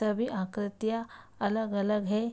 तभी आकृतियां अलग अलग हैं।